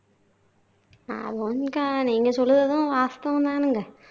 அது வந்துங்க நீங்க சொல்றதும் வாஸ்தவம் தானுங்க